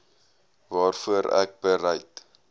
waarvoor ek bereid